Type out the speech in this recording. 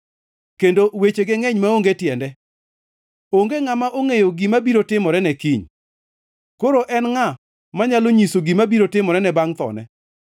kendo wechege ngʼeny maonge tiende. Onge ngʼama ongʼeyo gima biro timorene kiny, koro en ngʼa manyalo nyise gima biro timorene bangʼ thone?